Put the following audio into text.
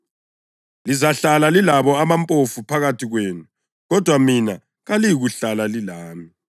Lizahlala lilabo abampofu phakathi kwenu kodwa mina kaliyikuhlala lilami.”